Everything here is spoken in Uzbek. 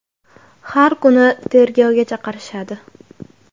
Har kuni tergovga chaqirishadi.